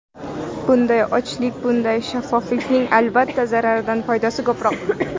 Bunday ochiqlik, bunday shaffoflikning, albatta, zararidan foydasi ko‘proq.